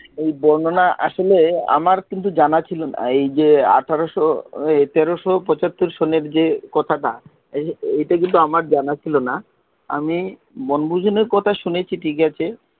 এই বর্ণনা আসলে আমার কিন্তু জানা ছিল না এই যে আঠারস টেরস পছতর সনের যে কথাটা এটা কিন্তু আমার জানা ছিলো না আমি বনভোজনের কথা শুনেছি ঠিক আছে